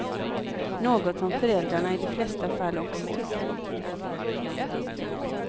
Något som föräldrarna i de flesta fall också tycker.